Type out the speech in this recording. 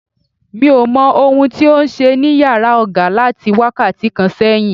Mi ò mọ ohun tí ó ń ṣe ní yàrá oga láti wákàtí kan sẹ́yìn.